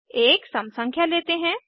एक सम संख्या लेते हैं